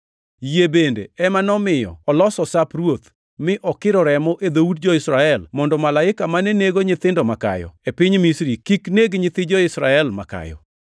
Yie bende ema nomiyo oloso Sap Ruoth, mi okiro remo e dhout jo-Israel mondo Malaika mane nego nyithindo makayo e piny Misri kik negi nyithi jo-Israel, makayo.